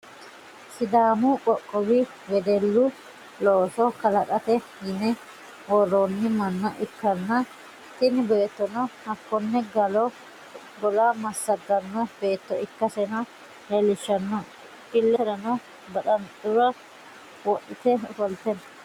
sidaamu qoqowi wedellu looso kalaqate yine worroonni manna ikkanna, tini beettono hakkonne gola massaganno beetto ikkaseno leelishshanno, illeserano baxanxure wodhite ofolte no.